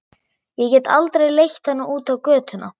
Ég get aldrei leitt hana út á götuna.